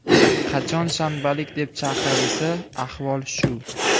Qachon shanbalik deb chaqirilsa, ahvol shu.